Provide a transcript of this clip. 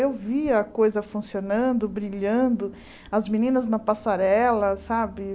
Eu via a coisa funcionando, brilhando, as meninas na passarela, sabe?